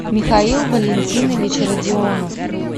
михаил валентинович родионов